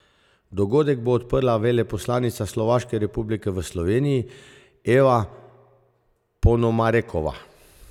Dogodek bo odprla veleposlanica Slovaške republike v Sloveniji Eva Ponomarenkova.